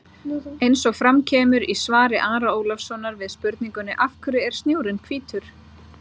Eins og fram kemur í svari Ara Ólafssonar við spurningunni Af hverju er snjórinn hvítur?